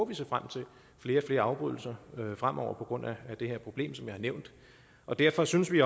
vi se frem til flere og flere afbrydelser fremover på grund af det her problem som jeg har nævnt og derfor synes vi